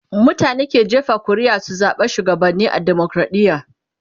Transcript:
mutane ke jefa ƙuri'a su zaɓa shugabanni a demokradiya